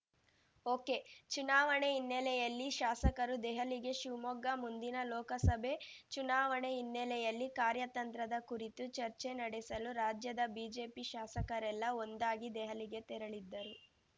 ಒಕೆಚುನಾವಣೆ ಹಿನ್ನೆಲೆಯಲ್ಲಿ ಶಾಸಕರು ದೆಹಲಿಗೆ ಶಿವಮೊಗ್ಗ ಮುಂದಿನ ಲೋಕಸಭೆ ಚುನಾವಣೆ ಹಿನ್ನೆಲೆಯಲ್ಲಿ ಕಾರ್ಯತಂತ್ರದ ಕುರಿತು ಚರ್ಚೆ ನಡೆಸಲು ರಾಜ್ಯದ ಬಿಜೆಪಿ ಶಾಸಕರೆಲ್ಲ ಒಂದಾಗಿ ದೆಹಲಿಗೆ ತೆರಳಿದ್ದರು